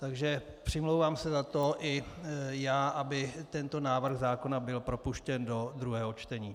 Takže přimlouvám se za to i já, aby tento návrh zákona byl propuštěn do druhého čtení.